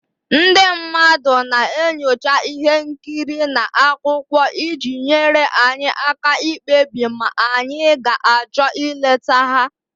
Ndị mmadụ na-enyocha ihe nkiri na akwụkwọ iji nyere anyị aka ikpebi ma anyị ga-achọ ịlete ha.